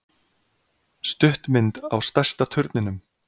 Stuttmynd á stærsta turninum